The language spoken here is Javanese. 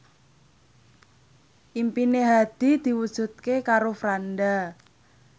impine Hadi diwujudke karo Franda